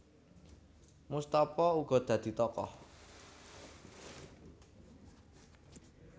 Moestopo uga dadi tokoh